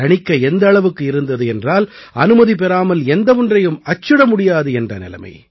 தணிக்கை எந்த அளவுக்கு இருந்தது என்றால் அனுமதி பெறாமல் எந்த ஒன்றையும் அச்சிட முடியாது என்ற நிலைமை